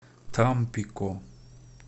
тампико